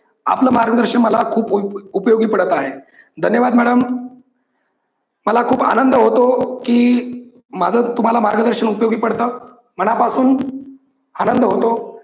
आपल मार्गदर्शन मला खूप उपयोगी पडत आहे. धन्यवाद madam मला खूप आनंद होतो की माझ तुम्हाला मार्गदर्शन उपयोगी पडत मनापासून आनंद होतो.